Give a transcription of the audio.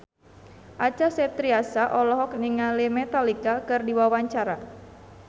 Acha Septriasa olohok ningali Metallica keur diwawancara